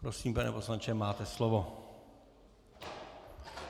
Prosím, pane poslanče, máte slovo.